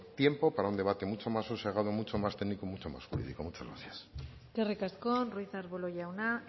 tiempo para un debate mucho más sosegado mucho más técnico mucho más jurídico muchas gracias eskerrik asko ruiz de arbulo jauna